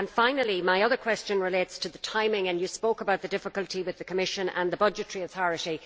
Finally, my other question relates to the timing, and you spoke about the difficulty with the Commission and the budgetary authority.